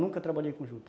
Nunca trabalhei com juta.